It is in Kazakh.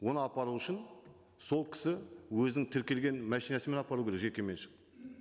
оны апару үшін сол кісі өзінің тіркелген машинасымен апару керек жекеменшік